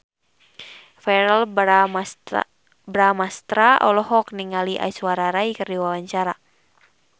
Verrell Bramastra olohok ningali Aishwarya Rai keur diwawancara